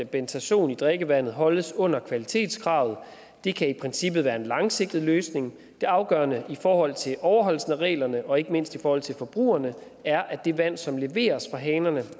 bentazon i drikkevandet holdes under kvalitetskravet det kan i princippet være en langsigtet løsning det afgørende i forhold til overholdelsen af reglerne og ikke mindst i forhold til forbrugerne er at det vand som leveres fra hanerne